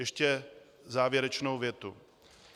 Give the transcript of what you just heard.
Ještě závěrečnou větu.